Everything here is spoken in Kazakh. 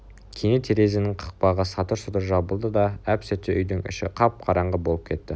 кенет терезенің қақпағы сатыр-сұтыр жабылды да әп-сәтте үйдің іші қап-қараңғы болып кетті